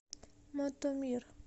мотомир